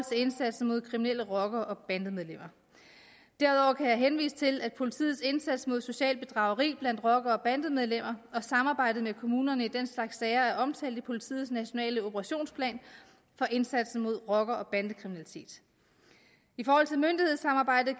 indsatsen mod kriminelle rockere og bandemedlemmer derudover kan jeg henvise til at politiets indsats mod socialt bedrageri blandt rockere og bandemedlemmer og samarbejdet med kommunerne i den slags sager er omtalt i politiets nationale operationsplan for indsatsen mod rocker og bandekriminalitet i forhold til myndighedssamarbejdet